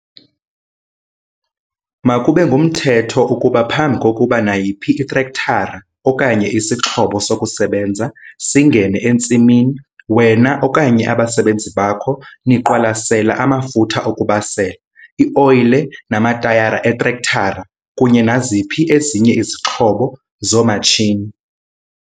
Makube ngumthetho ukuba phambi kokuba nayiphi itrektara okanye isixhobo sokusebenza singene entsimini wena okanye abasebenzi bakho niqwalasela amafutha okubasela, ioyile namatayara eetrektara kunye naziphi ezinye izixhobo zoomatshini.